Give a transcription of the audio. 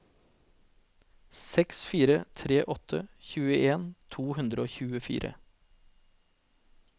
seks fire tre åtte tjueen to hundre og tjuefire